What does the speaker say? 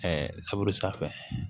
sanfɛ